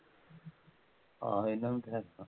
ਹਾਂ ਇਹਨਾ ਨੂੰ ਤਾਂ ਹੈ